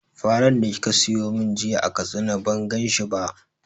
Faran da kika siyo mun jiya a Katsina ban gan shi ba